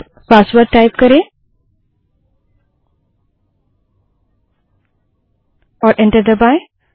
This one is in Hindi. अब पासवर्ड टाइप करें और एंटर दबायें